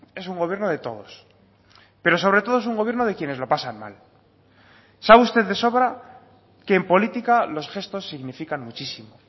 es un gobierno de todos pero sobre todo es un gobierno de quienes lo pasan mal sabe usted de sobra que en política los gestos significan muchísimo